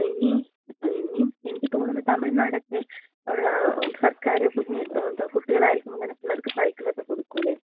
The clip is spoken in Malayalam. പിന്ന ഇനി എനിക്ക് തോന്നുന്നു തമിഴ്നാടൊക്കെ ഉള്ള സർക്കാര്‍ കുഞ്ഞ് കുട്ടികളായിരിക്കുമ്പോ തന്നെ പിള്ളേർക്ക് സൈക്കിളക്ക കൊടുക്കൂലെ?